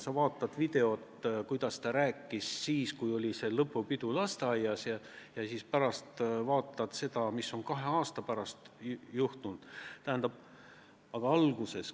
Sa vaatad videot, kuidas ta rääkis siis, kui oli lasteaias lõpupidu, ja siis sa vaatad seda, mis on kahe aasta pärast juhtunud.